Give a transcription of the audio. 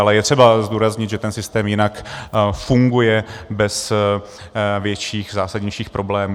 Ale je třeba zdůraznit, že ten systém jinak funguje bez větších zásadnějších problémů.